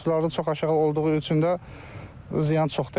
Məhsuldarlıq çox aşağı olduğu üçün də ziyan çox dəyib.